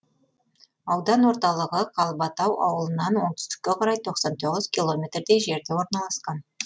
аудан орталығы қалбатау ауылынан оңтүстікке қарай тоқсан тоғыз километрдей жерде орналасқан